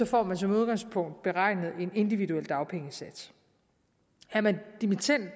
får man som udgangspunkt beregnet en individuel dagpengesats er man